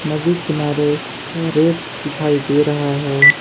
नदी किनारे रेत दिखाई दे रहा है।